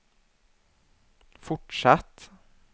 fortsatt